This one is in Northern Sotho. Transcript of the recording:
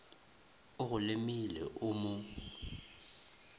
o go lemile o mo